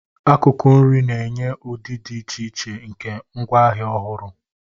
Akụkụ nri na-enye ụdị dị iche iche nke ngwaahịa ọhụrụ.